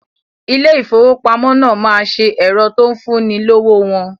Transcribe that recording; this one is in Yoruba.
Ilé ìfowópamọ́ náà ma ṣe ẹ̀rọ tó ń fún ni lówó wọn